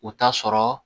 U t'a sɔrɔ